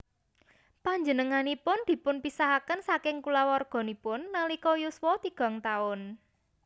Panjenenganipun dipunpisahaken saking kulawarganipun nalika yuswa tigang taun